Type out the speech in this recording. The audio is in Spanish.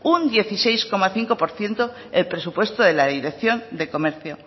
un dieciséis coma cinco por ciento el presupuesto de la dirección de comercio